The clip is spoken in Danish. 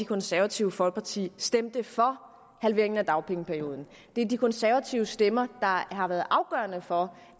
konservative folkeparti stemte for halveringen af dagpengeperioden det er de konservatives stemmer der har været afgørende for